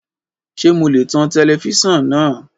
Ṣe mo lè tan tẹlẹfísàn náà?